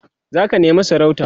zaka nema sarauta?